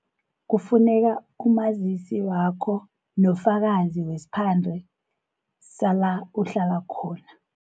Kufuneka umazisi wakho nofakazi wesphande sala uhlala khona.